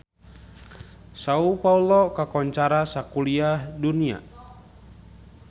Sao Paolo kakoncara sakuliah dunya